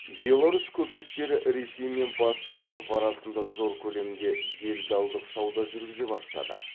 беларусь көпестері ресей мен батыс еуропа арасында зор көлемде делдалдық сауда жүргізе бастады